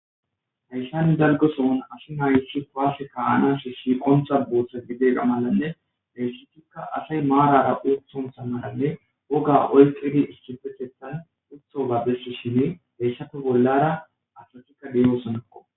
hayssan dalgoson asi nayisi kwaasse kaanashe siqontha booththa gidegamalanne dheyssetikka asay maarara uthon sammaranne woga oyqidi istifethethan utho gabesso shinne heysshappe bollara asasikka deyo sonakko